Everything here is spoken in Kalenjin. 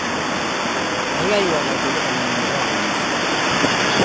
kaikai iwal atebto ng'ung nebo amishet